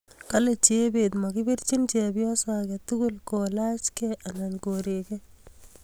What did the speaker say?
Kale chebet makipirchin chepyoso age tugul kolaachkei anan korekei